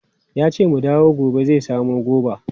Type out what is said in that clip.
Yace mu dawo gobe zai samu goba.